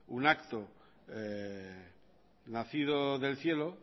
un acto nacido del cielo